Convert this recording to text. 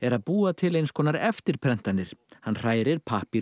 að búa til eins konar eftirprentanir hann hrærir